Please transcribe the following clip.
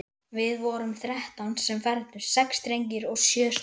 Við vorum þrettán sem fermdumst, sex drengir og sjö stúlkur.